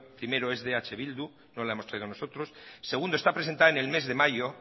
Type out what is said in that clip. primero es de eh bildu no la hemos traído nosotros está presentada en el mes de mayo